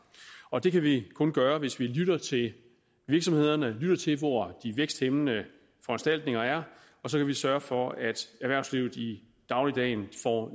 og det kan vi kun gøre hvis vi lytter til virksomhederne lytter til hvor de væksthæmmende foranstaltninger er og så kan vi sørge for at erhvervslivet i dagligdagen får